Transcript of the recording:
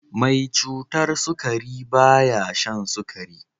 Mai cutar sukari ba ya shan sukari.